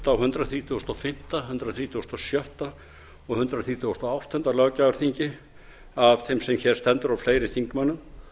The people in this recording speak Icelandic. á hundrað þrítugasta og fimmta hundrað þrítugasta og sjötta og hundrað þrítugasta og áttunda löggjafarþingi af þeim sem hér stendur og fleiri þingmönnum